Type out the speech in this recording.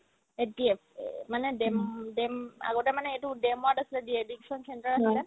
SDF এহ্ মানে DAM DAM আগতে মানে এইটো DAM ত dedication centre আছিলে